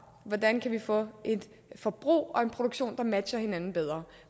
hvordan vi kan få et forbrug og en produktion der matcher hinanden bedre